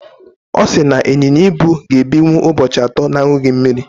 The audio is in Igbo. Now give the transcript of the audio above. Ọ sị na ịnyịnya ibu ga-ebinwu ụbọchị atọ na-aṅụghị mmiri.